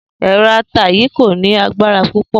È̩ro̩ ata yìí kò ní agbara púpò